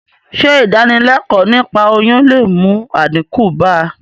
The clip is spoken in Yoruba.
Sé ìdánilékòó niípa oyún le mú àdínkù bá...